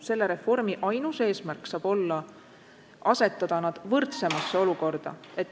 Selle reformi ainus eesmärk saab olla asetada nad senisest võrdsemasse olukorda.